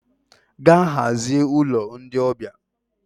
Gaa hazie ụlọ ndị ọbịa!